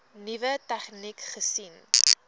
nuwe tegnieke gesien